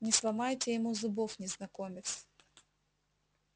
не сломайте ему зубов незнакомец